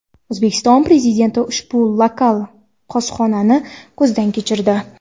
O‘zbekiston Prezidenti ushbu lokal qozonxonani ko‘zdan kechirdi.